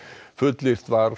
fullyrt var